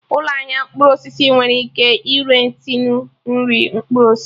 Ụlọ ahịa mkpụrụ osisi nwere ike ire tinu nri mkpụrụ osisi